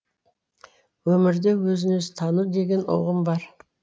өмірде өзін өзі тану деген ұғым бар